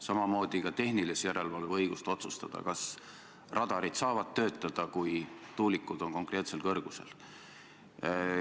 Samamoodi ka tehnilise järelevalve õigust otsustada, kas radarid saavad töötada, kui tuulikud on konkreetsel kõrgusel.